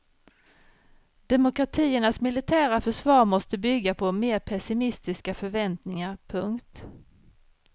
Demokratiernas militära försvar måste bygga på mer pessimistiska förväntningar. punkt